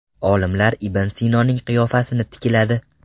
Olimlar Ibn Sinoning qiyofasini tikladi.